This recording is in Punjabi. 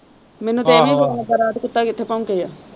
ਮੈਨੂੰ ਤਾਂ ਇਹ ਨਹੀਂ ਪਤਾ ਲੱਗਾ ਰਾਤ ਕੁੱਤਾ ਕਿੱਥੇ ਭੋਂਕੇ ਦਾ।